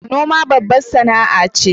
Noma babbar sAna a ce